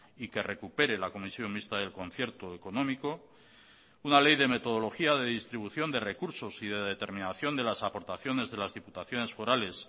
y que recupere la comisión mixta del concierto económico una ley de metodología de distribución de recursos y de determinación de las aportaciones de las diputaciones forales